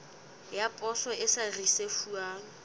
ya poso e sa risefuwang